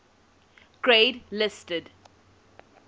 grade listed